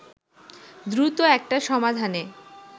দ্রুত একটা সমাধানে